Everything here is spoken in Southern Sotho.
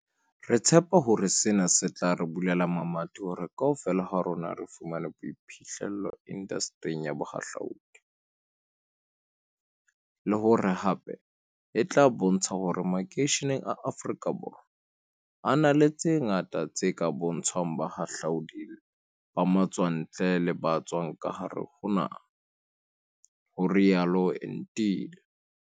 "Re tshepa hore sena se tla re bulela mamati hore kaofela ha rona re fumane boiphihle llo indastering ya bohahlua di, le hore hape e tla bontsha hore makeishene a Afrika Borwa a na le tse ngata tse ka bontshwang bahahlaudi ba matswantle le ba tswang ka hare ho naha" ho rialo Entile.